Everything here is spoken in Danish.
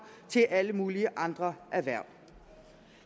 til alle mulige andre erhverv